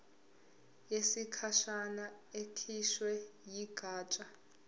yesikhashana ekhishwe yigatsha